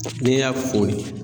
n'i y'a foni